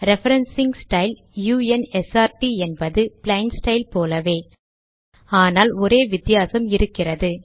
referencing style u n s r ட் என்பது plain style போலவே ஆனால் ஒரே ஒரு வித்தியாசம் இருக்கிறது